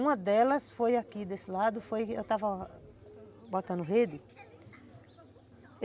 Uma delas foi aqui desse lado, eu estava botando rede.